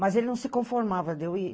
Mas ele não se conformava de eu ir.